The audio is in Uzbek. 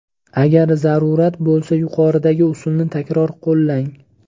Agar zarurat bo‘lsa yuqoridagi usulni takror qo‘llang.